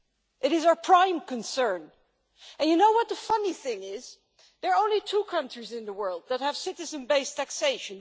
It is our prime concern, and you know what the funny thing is, there are only two countries in the world that have citizen based taxation.